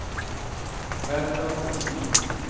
Ferdinand Vestin